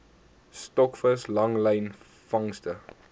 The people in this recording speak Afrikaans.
stokvis langlyn vangste